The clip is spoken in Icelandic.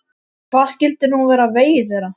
Hvað skyldi nú verða á vegi þeirra?